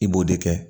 I b'o de kɛ